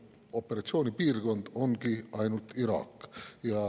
Operatsioonipiirkond ongi ainult Iraak.